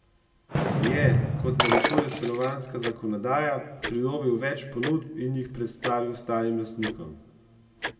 Je, kot narekuje stanovanjska zakonodaja, pridobil več ponudb in jih predstavil ostalim lastnikom?